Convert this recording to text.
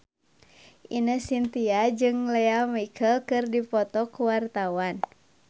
Ine Shintya jeung Lea Michele keur dipoto ku wartawan